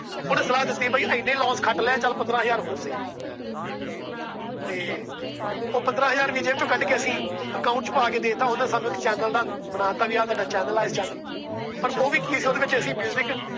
ਓਹਨੇ ਸਲਾਹ ਦੀ ਬਾਈ ਚੱਲ ਏਨੇ Loss ਖਟ ਲਏ ਪੰਦਰਾਂ ਹਜ਼ਾਰ ਹੋਰ ਸੀ। ਤੇ ਉਹ ਪੰਦਰਾਂ ਹਜ਼ਾਰ ਵੀ ਜੇਬ ਚੋ ਕੱਢ ਕੇ ਅਸੀਂ Account ਚ ਪਾ ਕੇ ਦੇਤਾ। ਓਹਨਾ ਸਾਨੂੰ ਇੱਕ Channel ਬਣਾ ਤਾ ਵੀ ਆ ਤੁਹਾਡਾ Channel ਆ। ਪਰ ਓਹੀ ਵੀ ਕਿ ਸੀ ਉਹਦੇ ਵਿਚ Music